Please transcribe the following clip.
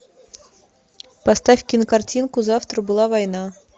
поставь кинокартину завтра была война